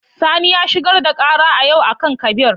Sani ya shigar da kara a yau a kan kabir.